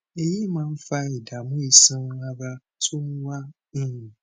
èyí máa ń fa ìdààmú iṣan ara tó ń wá um